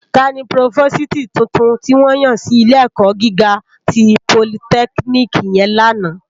Tàní prófósìtí túntún tiwòn yán si ilé èkò gigá ti pólìtèkínikì yèn làná?